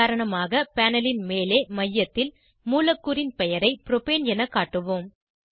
உதாரணமாக பேனல் ன் மேலே மையத்தில் மூலக்கூறின் பெயரை புரோப்பேன் என காட்டுவோம்